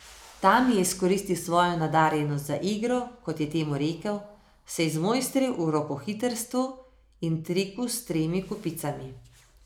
Tam je izkoristil svojo nadarjenost za igro, kot je temu rekel, se izmojstril v rokohitrstvu in triku s tremi kupicami.